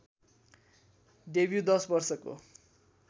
debut १० वर्षको